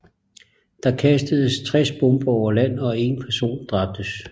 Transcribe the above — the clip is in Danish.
Der kastedes 60 bomber over land og 1 person dræbtes